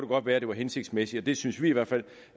godt være det var hensigtsmæssigt det synes vi i hvert fald